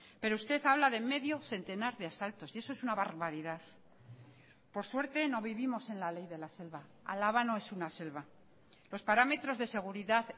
pero usted habla de medio centenar de asaltos y eso es una barbaridad por suerte no vivimos en la ley de la selva álava no es una selva los parámetros de seguridad